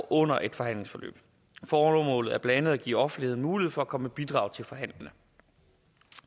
under et forhandlingsforløb formålet er blandt andet at give offentligheden mulighed for at komme med bidrag til forhandlingerne